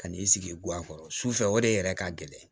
Kan'i sigi guwan kɔrɔ sufɛ o de yɛrɛ ka gɛlɛn